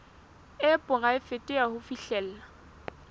e poraefete ya ho fihlella